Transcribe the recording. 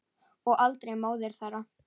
Og aldrei móður þeirra.